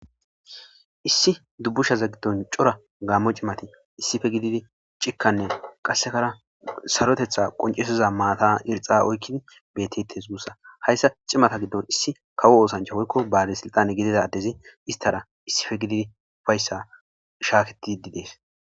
issi dubbushaze gidon cora gaammo cimati issife gididi cikkanne qassekara sarotetha qoncesiza maata irxa oykkid bettittes gussa hayssa cimata giddon issi kawo oosancha hoykko baali silxane gidida addezi istara issife gididi fayssa shaaketidi dees.